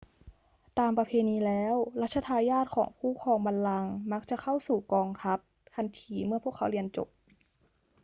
ตามประเพณีแล้ว รัชทายาทของผู้ครองบัลลังก์มักจะเข้าสู่กองทัพทันทีเมื่อพวกเขาเรียนจบ